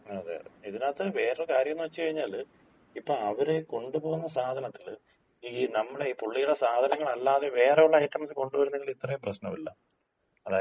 അതെയതെ. ഇതിനകത്ത് വേറൊരു കാര്യംന്ന് വച്ച്കഴിഞ്ഞാല്, ഇപ്പോ അവര് കൊണ്ട് പോകുന്ന സാധനത്തില് ഈ നമ്മുടെ ഈ പുള്ളിടെ സാധനങ്ങളല്ലാതെ വേറെ ഒള്ള ഐറ്റംസ് കൊണ്ടുപോയിരുന്നെങ്കില് ഇത്രയും പ്രശ്നോല്ല. അതായത്,